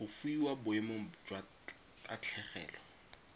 go fiwa boemong jwa tatlhegelo